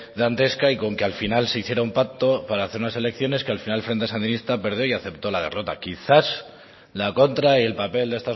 dantesca y con que al final se hiciera un pacto para hacer unas elecciones que al final el frente sandinista perdió y aceptó la derrota quizás la contra y el papel de